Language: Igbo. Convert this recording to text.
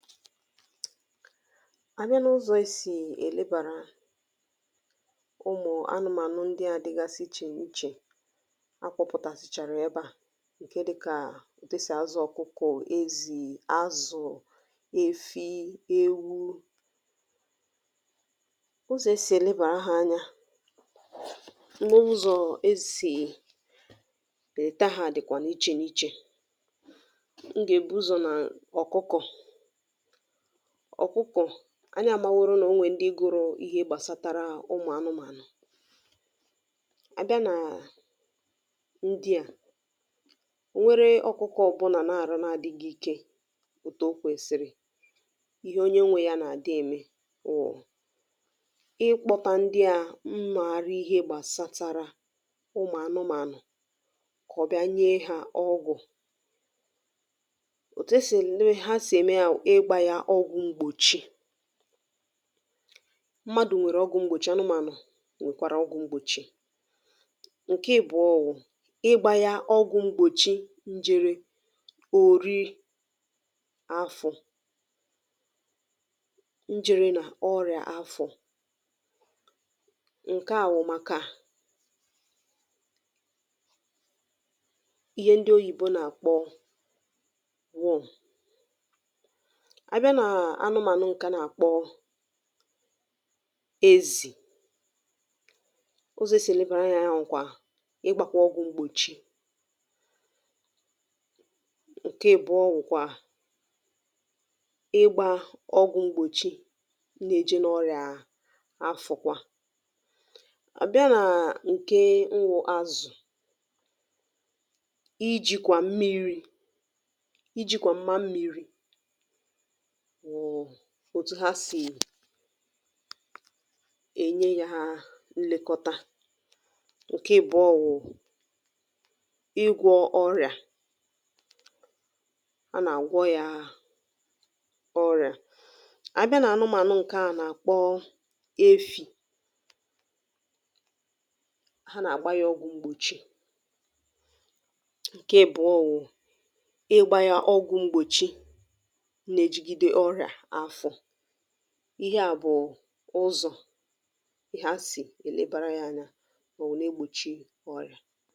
abịa n’ụzọ̀ e sì èlebàar ụmụ̀ anụmànụ ndịà dịgasị ichè ichè, akpọ̄pụ̀tàsị̀chàrà ẹbẹ à, ǹke dịkà ọ̀kụkọ̀, ezì, azụ̀, efi, ewu, ụzọ̀ e sì ẹ̀lẹbàra ha anya, na ụzọ̀ e sì ẹ̀lẹta ha dị̀ ichè ichè. m gà èbu ụzọ̀ nà ọ̀kụkọ̀. ọ̀kụkọ̀, anyị amaworo nà ọnwẹ ndị gụrụ ihe gbàsara ụmụ̀ anụmànụ. abịa nà ndị à, e nwere ọkụkọ na adịghị ike òtù o kwèsì, ịhẹ onye nwē y anà àdị ẹmẹ bụ̀ ịkpọta ndịà na arụ ihē gbàsatara ụmụ̀ anụmànụ kà ọ bịa nye ha ọgwụ̀. òtù ha sì ẹ̀mẹ yaw ụ̀ ịgbā ya ọgwụ̀ mgbòchi. mmadù nwẹ̀rẹ ọgwū mgbòchi, anụmànụ nwẹ̀kwàrà ọgwū mgbòchi. ǹkẹ ịbụ̀ọ wụ ịgba ya ọgwụ̄ mgbòchi ijẹ̄rẹ òri afọ̄. ijẹ̄rẹ nà òrià afọ̄. ǹkẹ à wụ̀ màkà ihẹ ndị oyìbo nà àkpọ worm. a bịa nà anụmànụ̀ ǹkẹ̀ a nà àkpọ ezì, ụzọ̀ e sì ẹ̀lẹbà anya yā bụ̀kwà ị gbā ọgwụ̄ mgbòchi. ǹkẹ ị̀bụ̀ọ bụ̀kwà ị gbā ọgwụ̄ mgbòchi na eje n’ọrị̀à, na afụ̀kwa. abịa nà ǹke nwụ azụ̀, ijìkwà mmirī, ịjị̀kwà m̀ma mmīri wụ̀ otu ha sì ènye ha nlekọta. ǹkẹ ị̀bụ̀ọ wụ ịgwọ̄ ọrị̀à. a nà àgwọ yā ọrị̀à. a bịa nà anụmanụ ǹkẹ̀ a nà àkpọ efī, ha nà àgba ya ọgwụ̄ mgbòchi. ǹkẹ ị̀bụ̀ọ wụ, ị gbā ya ọgwụ̄ mgbòchi na ejigide ọrịà afọ̄. ịhẹ à bụ̀ ụzọ e sì ẹlẹbàra ha anya, mà wẹ̀ẹ na egbòchi ọrị̀à.